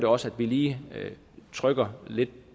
også at vi lige trykker lidt